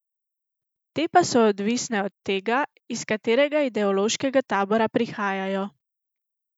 Te pa so odvisne od tega, iz katerega ideološkega tabora prihajajo.